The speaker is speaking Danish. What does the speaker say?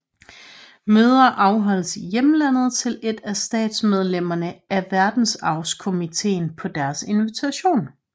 Møder afholdes i hjemlandet til et af statsmedlemmerne af Verdensarvskomiteen på deres invitation